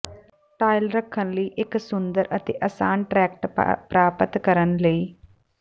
tile ਰੱਖਣ ਲਈ ਇੱਕ ਸੁੰਦਰ ਅਤੇ ਆਸਾਨ ਟਰੈਕ ਪ੍ਰਾਪਤ ਕਰਨ ਲਈ